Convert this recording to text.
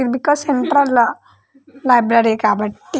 ఇదొక central law library కాబట్టి